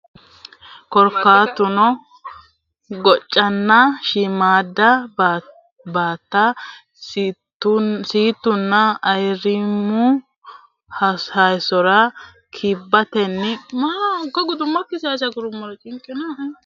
Korkaatuno goccanna shiimmaadda bootta siittunna ayirrimmu hossuro kibbatenna qoatenni gawajjite fushshite huntanno gede assitanno daafira insa insawa calla hosiisa hasiissanno.